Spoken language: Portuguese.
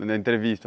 Na entrevista.